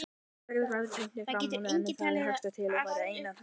Verðbréf eru ein tegund fjármálagerninga en undir það hugtak falla einnig afleiður.